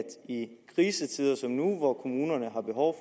i krisetider som nu hvor kommunerne har behov